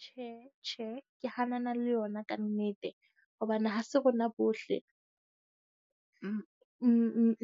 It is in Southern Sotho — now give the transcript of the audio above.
Tjhe, tjhe. Ke hanana le yona kannete hobane ha se rona bohle